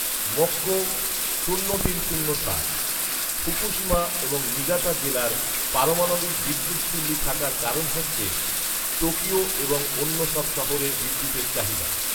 মোক্কো শূন্য তিন শূন্য সাত, ফুকুশিমা এবং নিগাতা জেলার পারমাণবিক বিদ্যুৎ চুল্লি থাকার কারণ হচ্ছে, টোকিও এবং অন্য সব বড় শহরের বিদ্যুতের চাহিদা